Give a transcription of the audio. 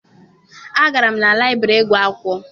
Agara m na laịbịrị ịgụ akwụkwọ.